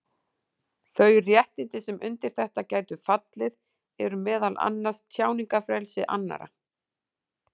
Þau réttindi sem undir þetta gætu fallið eru meðal annars tjáningarfrelsi annarra.